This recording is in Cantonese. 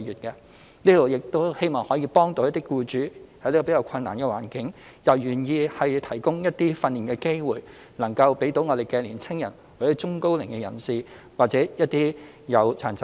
這是希望幫助僱主，使他們在此較困難的環境下亦願意提供一些訓練機會予年輕人、中高齡人士或殘疾人士就業。